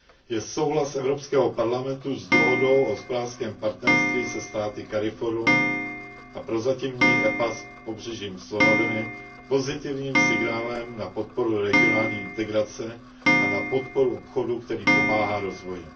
je souhlas Evropského parlamentu s dohodou o hospodářském partnerství se státy CARIFORUM a prozatímní EPA s Pobřežím slonoviny pozitivním signálem na podporu regionální integrace a na podporu obchodu, který pomáhá rozvoji.